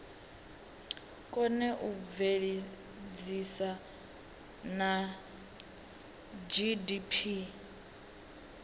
kone u bveledzisa na gdp